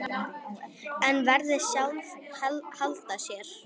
En verðin sjálf halda sér.